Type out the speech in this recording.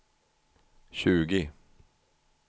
tjugo